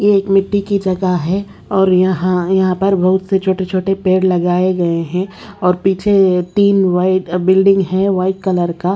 ये एक मिट्टी की जगह है और यहां यहां पर बहुत से छोटे छोटे पेड़ लगाए गए हैं और पीछे तीन व्हाइट बिल्डिंग है व्हाइट कलर का।